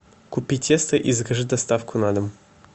купи тесто и закажи доставку на дом